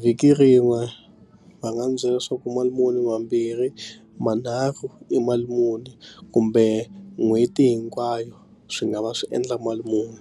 vhiki rin'we va nga n'wi byela leswaku mali muni mambirhi manharhu i mali muni kumbe n'hweti hinkwayo swi nga va swi endla mali muni.